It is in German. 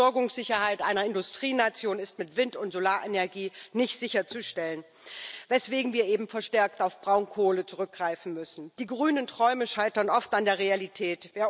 Die Versorgungssicherheit einer Industrienation ist mit Wind und Solarenergie nicht sicherzustellen, weswegen wir eben verstärkt auf Braunkohle zurückgreifen müssen. Die grünen Träume scheitern oft an der Realität.